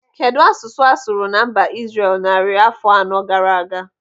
Kedụ asụsụ a sụrụ na mba Izrel narị afọ anọ gaara aga?